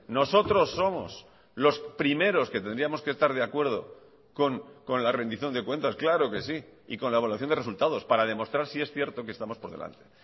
nosotros somos los primeros que tendríamos que estar de acuerdo con la rendición de cuentas claro que sí y con la evaluación de resultados para demostrar si es cierto que estamos por delante